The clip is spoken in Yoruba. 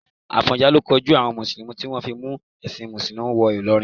Àfọ̀njá ló kojú àwọn mùsùlùmí tí wọ́n mú ẹ̀sìn mùsùlùmí wọ Ìlọrin.